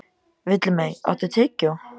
Villimey, áttu tyggjó?